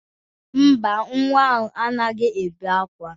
Mba, nwa ahụ anaghị akwa ákwá.